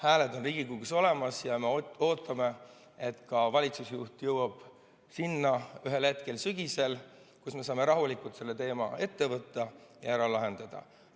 Hääled on Riigikogus olemas ja me ootame, et ka valitsusjuht jõuab ühel hetkel sügisel sinnamaani, et saame rahulikult selle teema ette võtta ja ära lahendada.